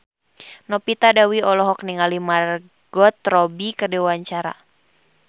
Novita Dewi olohok ningali Margot Robbie keur diwawancara